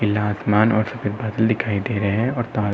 खुला आसमान सफ़ेद बादल दिखाई दे रहे हैं और तार--